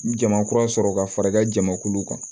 Jama kura sɔrɔ ka fara i ka jamakulu kan